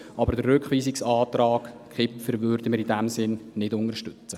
Aber den Rückweisungsantrag Kipfer würden wir in diesem Sinn nicht unterstützen.